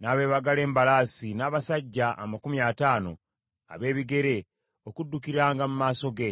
n’abeebagala embalaasi, n’abasajja amakumi ataano ab’ebigere okuddukiranga mu maaso ge.